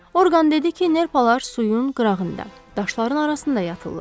Orqan dedi ki, nerpalar suyun qırağında, daşların arasında yatırlar.